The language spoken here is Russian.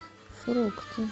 фрукты